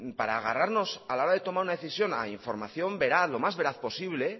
para agarrarnos a la hora de tomar una decisión a información veraz lo más veraz posible